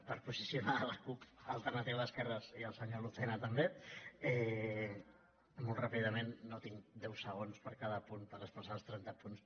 per posicionar la cup · al·ternativa d’esquerres i el senyor lucena també molt ràpidament no tinc deu segons per a cada punt per expressar els trenta punts